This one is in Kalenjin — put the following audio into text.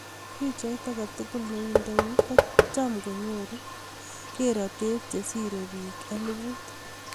pichait agei tugul ne indei ko cham konyoru keretet che sire pik eliput.